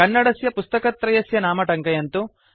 कन्नडस्य पुस्तकत्रयस्य नाम टङ्कयन्तु